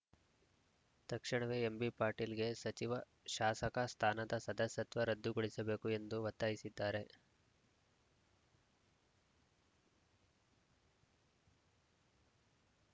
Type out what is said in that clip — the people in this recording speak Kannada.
ತಕ್ಷಣವೇ ಎಂಬಿಪಾಟೀಲ್‌ಗೆ ಸಚಿವ ಶಾಸಕ ಸ್ಥಾನದ ಸದಸ್ಯತ್ವ ರದ್ಧುಗೊಳಿಸಬೇಕು ಎಂದು ಒತ್ತಾಯಿಸಿದ್ದಾರೆ